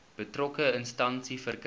betrokke instansie verkry